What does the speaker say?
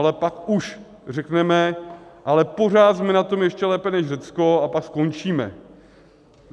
Ale pak už řekneme, ale pořád jsme na tom ještě lépe než Řecko, a pak skončíme.